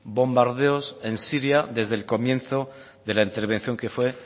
bombardeos en siria desde el comienzo de la intervención que fue